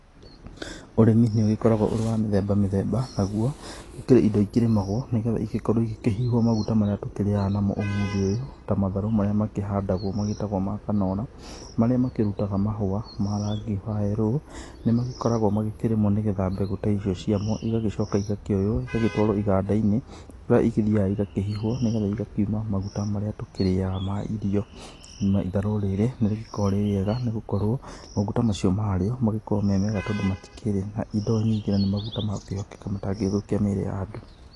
Ũrĩmi nĩ ũgĩkoragwo ũrĩ wa mĩthemba mĩthemba naguo gũkĩrĩ indo ikĩrĩmagwo nĩgetha igĩkorwo igĩkĩhihwo maguta marĩa tũkĩrĩaga namo ũmũthĩ ũyũ, ta matharũ marĩa makĩhandagwo magĩtagwo ma kanora, marĩa makĩrutaga mahũa ma rangi wa yellow nĩ magĩkoragwo magĩkĩrĩmwo nĩgetha mbegũ ta icio ciamo, igagĩcoka igakĩoywo, igagĩtwarwo iganda-inĩ kũrĩa igĩthiaga igakĩhihwo nĩgetha igakiuma maguta marĩa tũkĩrĩaga ma irio. Itharũ rĩrĩ nĩ rĩgĩkoragwo rĩ rĩega nĩ gũkorwo maguta macio marĩo magĩkoragwo me mega tondũ matikĩrĩ na indo nyingĩ na nĩ maguta ma gũkĩhokeka matangĩthũkia mĩrĩ ya andũ.